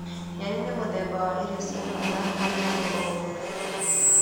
Nyeni nĩ mũthemba wa irio cia bata harĩ mũndũ o wothe.